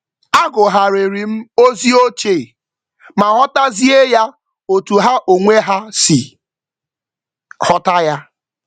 M gụgharịrị ozi ochie ma hụ ya n’ụzọ ha si ele ya n’ikpeazụ.